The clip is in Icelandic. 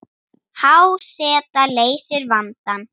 Há seta leysir vandann